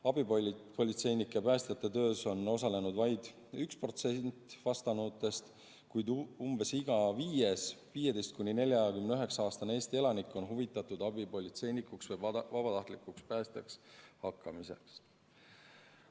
Abipolitseinike ja päästjate töös on osalenud vaid 1% vastanutest, kuid umbes iga viies 15–49‑aastane Eesti elanik on huvitatud abipolitseinikuks või vabatahtlikuks päästjaks hakkamisest.